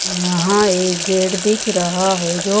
यहाँ एक गेट दिख रहा है जो--